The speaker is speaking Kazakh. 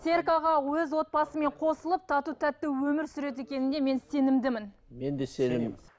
серік аға өз отбасымен қосылып тату тәтті өмір сүреді екеніне мен сенімдімін мен де сенемін